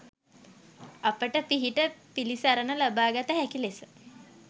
අපට පිහිට පිළිසරණ ලබාගත හැකි ලෙස